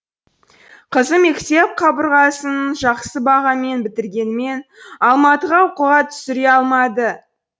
қызы мектеп қабырғасын жақсы бағамен бітіргенімен алматыға оқуға түсіре алмады